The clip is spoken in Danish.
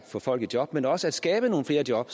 få folk i job men også at skabe nogle flere job